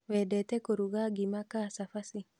Wendete kũruga ngima ka cabaci?